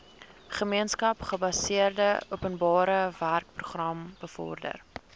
gemeenskapsgebaseerde openbarewerkeprogram bevorder